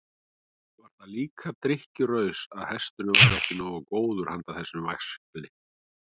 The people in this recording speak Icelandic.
Var það líka drykkjuraus að hesturinn væri ekki nógu góður handa þessum væskli?